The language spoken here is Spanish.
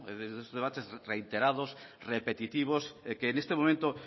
no estos debates reiterados repetitivos que en este momento